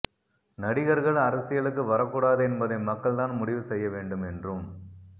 நடிகர்கள் அரசியலுக்கு வரக்கூடாது என்பதை மக்கள் தான் முடிவு செய்ய வேண்டும் என்றும்